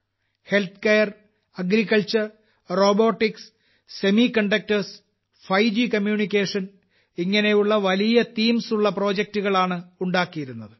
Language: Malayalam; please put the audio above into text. healthcare agriculture robotics semiconductors 5 G communications ഇങ്ങനെയുള്ള വലിയ തീംസ് ഉള്ള പ്രൊജെക്ടുകൾ ആണ് ഉണ്ടാക്കിയിരുന്നത്